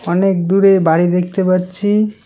অনেক দূরে বাড়ি দেখতে পাচ্ছি।